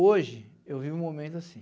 Hoje, eu vivo um momento assim.